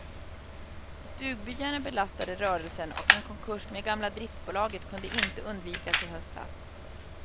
Stugbyarna belastade rörelsen och en konkurs med gamla driftbolaget kunde inte undvikas i höstas.